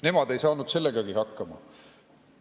Nemad ei saanud sellegagi hakkama.